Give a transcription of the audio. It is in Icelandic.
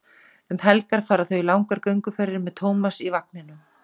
Um helgar fara þau í langar gönguferðir með Tómas í vagninum.